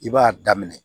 I b'a daminɛ